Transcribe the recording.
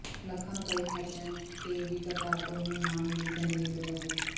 ਲੱਖਾਂ ਰੁਪਏ ਖਰਚਣ ਕੇ ਵੀ ਕਰਤਾਰਪੁਰ ਨੂੰ ਨਾ ਮਿਲੀ ਗੰਦਗੀ ਤੋਂ ਰਾਹਤ